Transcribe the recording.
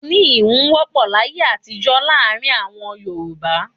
Ẹni íhun wọ́pọ̀ láyé àtijó láàrin àwọn Yorùbá.